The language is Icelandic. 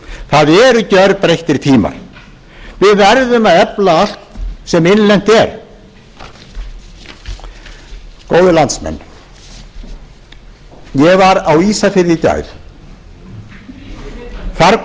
það eru gjörbreyttir tímar við verðum að efla allt sem innlent er góðir landsmenn ég var á ísafirði í gær þar kom til